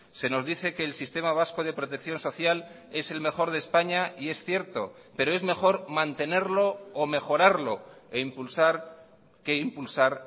se nos dice que el sistema vasco de protección social es el mejor de españa y es cierto pero es mejor mantenerlo o mejorarlo e impulsar que impulsar